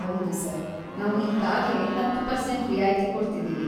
ಹೌದು ಸರ್. ನಾವು ಈಗಾಗ್ಲೇ ಹತ್ತು ಪರ್ಸೆಂಟ್ ರಿಯಾಯಿತಿ ಕೊಡ್ತಿದೀವಿ.